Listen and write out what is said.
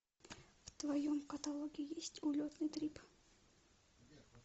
в твоем каталоге есть улетный трип